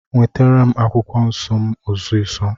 Nwetara m akwụkwọ nsọ m ọsisọ.